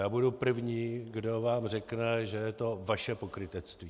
Já budu první, kdo vám řekne, že je to vaše pokrytectví.